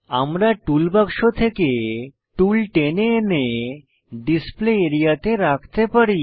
আমরা টুল বাক্স থেকে টুল টেনে এনে ডিসপ্লে আরিয়া তে রাখতে পারি